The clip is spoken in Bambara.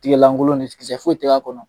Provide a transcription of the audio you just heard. Tiga lankolon kisɛ foyi tɛ k'a kɔnɔ.